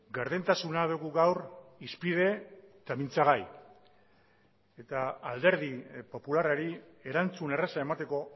gardentasuna dugu gaur hizpide eta mintzagai eta alderdi popularrari erantzun erraza emateko